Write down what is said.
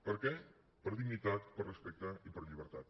per què per dignitat per respecte i per llibertat